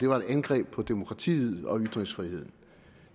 var et angreb på demokratiet og ytringsfriheden